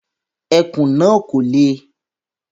Ẹkùn náà kò le